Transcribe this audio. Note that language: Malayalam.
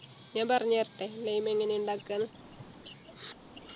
ഞാൻ പറഞ്ഞേരട്ടെ Lime എങ്ങനെയാ ഇണ്ടാക്കാന്ന്